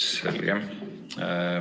Selge.